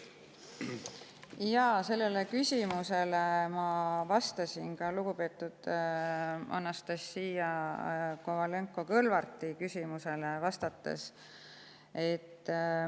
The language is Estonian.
Sellele küsimusele ma vastasin ka lugupeetud Anastassia Kovalenko-Kõlvarti küsimusele vastates.